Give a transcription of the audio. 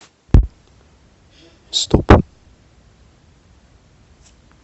стоп